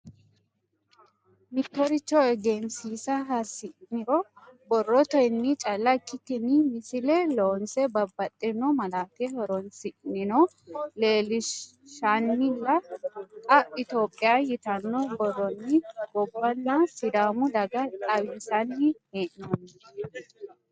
Mittoricho egensiisa hasi'niro borroteni calla ikkikkinni misile loonse babbaxxino malate horonsi'neno leelinshannilla xa itophiya yitano borronni gobbanna sidaamu daga xawinsanni hee'nonni.